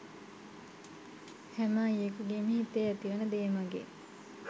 හැම අයියෙකුගේම හිතේ ඇතිවෙන දේමගේ